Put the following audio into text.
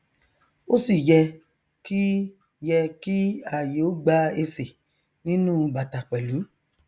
ó sì yẹ kí yẹ kí ààyè ó gba esè nínú u bàtà pẹlú